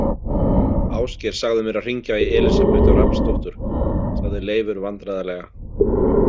Ásgeir sagði mér að hringja í Elísabetu Rafnsdóttur, sagði Leifur vandræðalega.